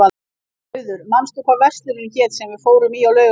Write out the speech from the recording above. Auður, manstu hvað verslunin hét sem við fórum í á laugardaginn?